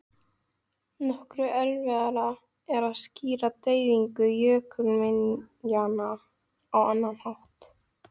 Nokkru erfiðara er að skýra dreifingu jökulminjanna á annan hátt.